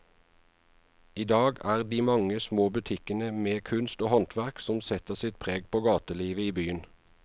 I dag er det de mange små butikkene med kunst og håndverk som setter sitt preg på gatelivet i byen.